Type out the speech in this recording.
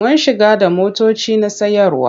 Muna shigo da motoci na sayarwa.